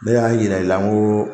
Ne y'a yira i la ngo